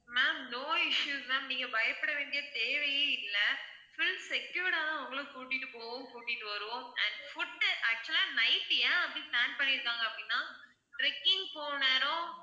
ma'am no issues ma'am நீங்க பயப்பட வேண்டிய தேவையே இல்லை full secured ஆ தான் உங்கள கூட்டிட்டு போவோம் கூட்டிட்டு வருவோம் and food actual ஆ night ஏன் அப்படி plan பண்ணியிருக்காங்க அப்படின்னா trekking போன நேரம்